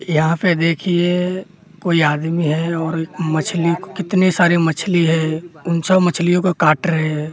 यहाँ पे देखिए कोई आदमी है और एक मछली कितनी सारी मछली है उन सब मछलियों को काट रहे हैं --